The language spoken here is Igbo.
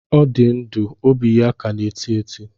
Ọ dị ndụ, óbị ya ka na-eti eti